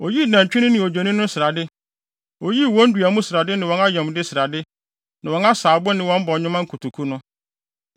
Oyii nantwi no ne odwennini no srade. Oyii wɔn dua mu srade ne wɔn ayamde srade, ne wɔn asaabo ne wɔn bɔnwoma kotoku no.